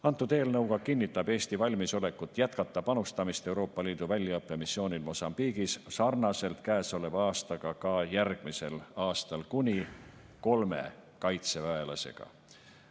Antud eelnõuga kinnitab Eesti valmisolekut jätkata panustamist Euroopa Liidu väljaõppemissioonil Mosambiigis sarnaselt käesoleva aastaga ka järgmisel aastal kuni kolme kaitseväelasega.